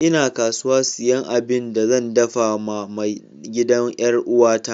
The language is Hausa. N'na kasuwa siyan abin da zan dafa ma mai gidan' yar uwa ta.